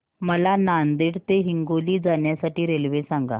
मला नांदेड ते हिंगोली जाण्या साठी रेल्वे सांगा